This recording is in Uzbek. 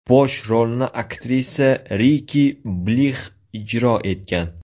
Bosh rolni aktrisa Riki Blix ijro etgan.